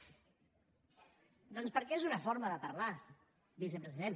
doncs perquè és una forma de parlar vicepresident